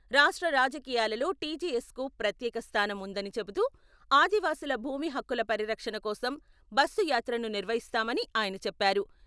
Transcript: రాష్ట్ర రాజకీయాలలో టీజేఎస్కు ప్రత్యేక స్థానం ఉందని చెబుతూ, ఆదివాసీల భూమి హక్కుల పరిరక్షణ కోసం బస్సు యాత్రను నిర్వహిస్తామని ఆయన చెప్పారు.